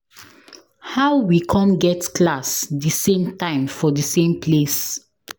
How we come get class the same time for the same place